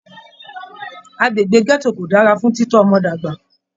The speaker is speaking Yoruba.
Agbègbè gẹto kò dára fún titọ ọmọ dàgbà.